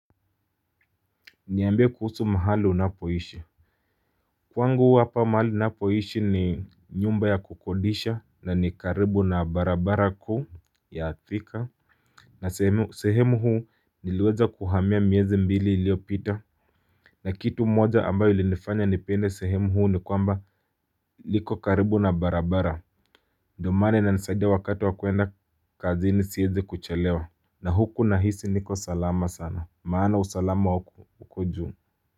Niambie kuhusu mahali unapoishi. Kwangu huwa hapa mahali ninapoishi ni nyumba ya kukodisha na ni karibu na barabara kuu ya atika. Na sehemu huu niliweza kuhamia miezi mbili iliyopita. Na kitu moja ambayo ilinifanya nipende sehemu huu ni kwamba liko karibu na barabara ndio maana inanisaidia wakati wa kwenda kazini siezi kuchelewa. Na huku nahisi niko salama sana maana usalama uko juu.